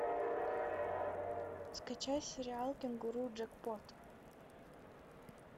скачай сериал кенгуру джекпот